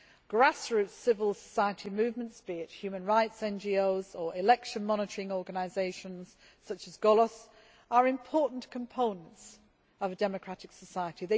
Grassroots civil society movements, be it human rights NGOs or election monitoring organisations such as Golos, are important components of democratic society.